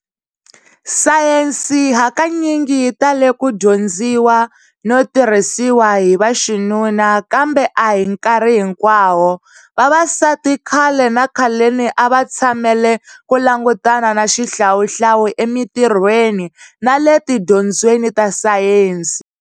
Sayensi hakanyingi yitale ku dyondziwa notirhisiwa hi vaxinuna kambe ahinkarhi hinkwawo. Vavasati khale nakhaleni avatshamele ku langutana na xihlawuhlawu e mintirweni nale tidyondzweni ta Sayensi.